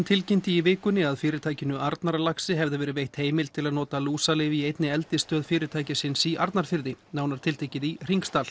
tilkynnti í vikunni að fyrirtækinu Arnarlaxi hefði verið veitt heimild til að nota lúsalyf í einni eldisstöð fyrirtækisins í Arnarfirði nánar tiltekið í